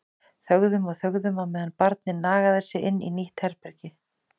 Þögðum og þögðum á meðan barnið nagaði sig inn í nýtt herbergi.